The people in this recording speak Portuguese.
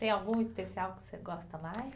Tem algum especial que você gosta mais?